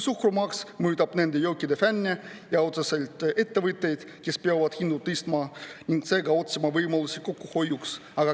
Suhkrumaks mõjutab nende jookide fänne ja otseselt ettevõtteid, kes peavad hindu tõstma ning otsima võimalusi ka kokkuhoiuks.